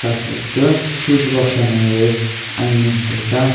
asaika switch box yanung eh ani ngan tega.